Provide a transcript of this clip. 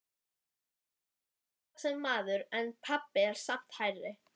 Sævar telst hávaxinn maður en pabbi er samt hærri.